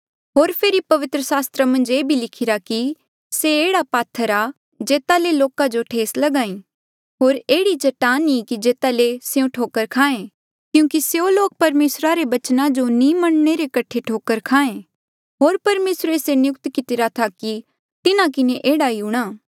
होर फेरी पवित्र सास्त्रा मन्झ ये भी लिखिरा कि से एह्ड़ा पात्थर आ जेता ले लोका जो ठेस लगी होर एह्ड़ी चट्टान ई की जेता ले स्यों ठोकर खाएं क्यूंकि स्यों लोक परमेसरा रे बचना जो नी मनणे रे कठे ठोकर खाहें होर परमेसरे ये नियुक्त कितिरा था कि तिन्हा किन्हें एह्ड़ा ही हूंणा